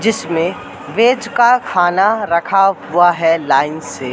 जिसमें वेज का खाना रखा हुआ है लाइन से।